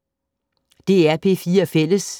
DR P4 Fælles